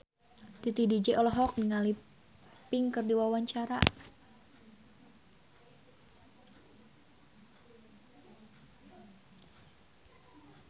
Titi DJ olohok ningali Pink keur diwawancara